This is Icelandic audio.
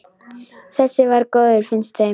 Þessi var góður, finnst þeim.